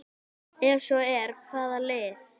Ef svo er, hvaða lið?